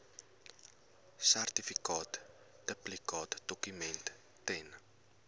sertifikaat duplikaatdokument ten